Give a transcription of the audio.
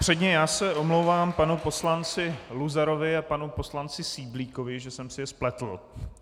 Předně já se omlouvám panu poslanci Luzarovi a panu poslanci Syblíkovi, že jsem si je spletl.